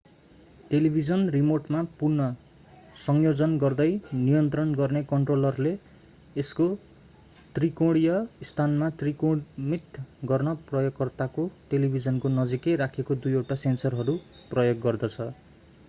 television रिमोटमा पुन संयोजन गर्दै नियन्त्रण गर्ने कन्ट्रोलरले यसको त्रिकोणिय स्थानमा त्रिकोणमित गर्न प्रयोगकर्ताको टेलिभिजनको नजिकै राखिएका दुईवटा सेन्सरहरू प्रयोग गर्दछ